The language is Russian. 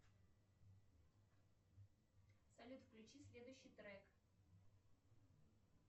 салют включи следующий трек